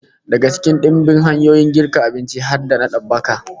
Daga cikin dimbin hanyoyin girka abinci har da babbaka